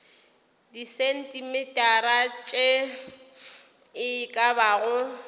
disentimetara tše e ka bago